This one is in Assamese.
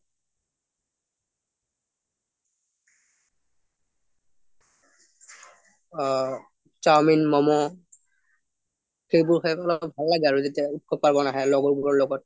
অ চাওমিন মোমো সেইবোৰ খাই ভাল লাগে আৰু যেতিয়া আমি লগৰ বোৰৰ লগত